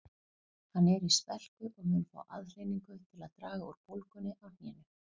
Hann er í spelku og mun fá aðhlynningu til að draga úr bólgunni á hnénu